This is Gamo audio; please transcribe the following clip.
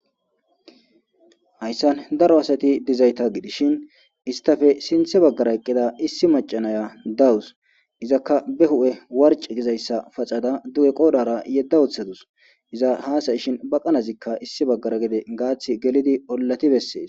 hayssan daro asati dizayta gidishin istafe sinthe baggara eqqida issi macanaya dawus izakka be hu7e warci gizayssa pacada du7e qoodara yedda ooththadus iza haasayishin baqanazikka issi baggara gede gaath gelidi ollati bessees